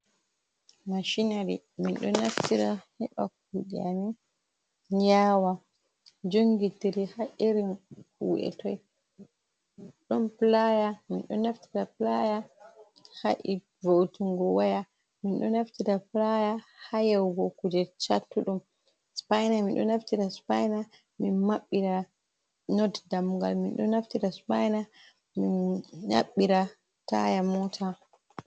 Mashinari minɗo naftira heɓa kuɗeami yawa. Jongitiri ha irin kuɗe toi. Ɗon pulaya, minɗo naftira pulaya ha voutungo waya. Min ɗo naftira pulaya ha yaugo kuje chattuɗum. Supaina, minɗo naftira supaina min maɓɓira not ɗamgal, min ɗo naftira supaina min maɓɓira taya mota.